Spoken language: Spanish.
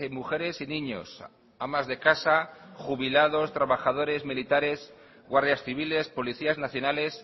mujeres y niños amas de casa jubilados trabajadores militares guardias civiles policías nacionales